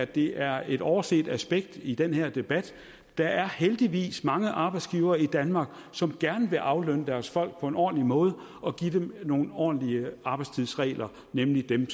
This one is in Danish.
det er et overset aspekt i den her debat der er heldigvis mange arbejdsgivere i danmark som gerne vil aflønne deres folk på en ordentlig måde og give dem nogle ordentlige arbejdstidsregler nemlig dem